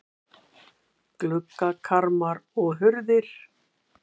Gluggakarma og hurðir.